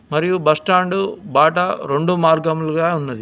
మరియు బస్టాండు బాట రెండు మార్గములుగా ఉన్నది.